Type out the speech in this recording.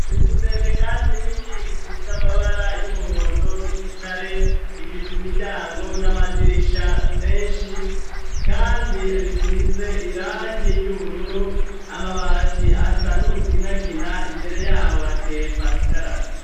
inzu ndende kandi nini isize amabara y'umuhondo n'igitare ifise imiryango n'amadirisha menshi kandi bisize irangi ry'ubururu amabati asa n'umuginagina imbere yaho hateye pasicarama